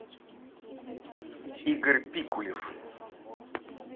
игорь пикулев